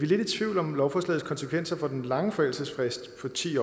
lidt i tvivl om lovforslagets konsekvenser for den lange forældelsesfrist på ti